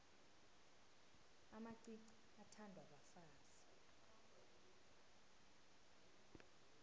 amacici athandwa bafazi